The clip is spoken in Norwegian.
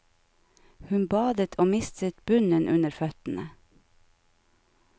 Hun badet og mistet bunnen under føttene.